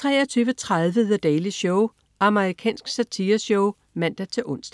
23.30 The Daily Show. Amerikansk satireshow (man-ons)